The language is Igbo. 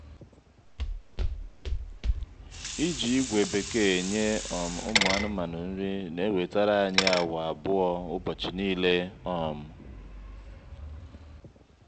iji ígwè bekee eṅye um ụmụ anụmanụ nri na ewetere anyị awa abụọ ụbọchị niile um